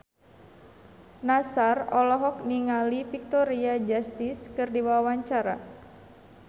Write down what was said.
Nassar olohok ningali Victoria Justice keur diwawancara